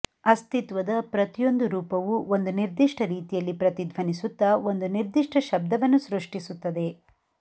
ಅಸ್ತಿತ್ವದ ಪ್ರತಿಯೊಂದು ರೂಪವೂ ಒಂದು ನಿರ್ದಿಷ್ಟ ರೀತಿಯಲ್ಲಿ ಪ್ರತಿಧ್ವನಿಸುತ್ತ ಒಂದು ನಿರ್ದಿಷ್ಟ ಶಬ್ದವನ್ನು ಸೃಷ್ಟಿಸುತ್ತದೆ